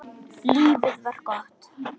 Lífið var gott.